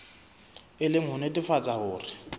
e le ho nnetefatsa hore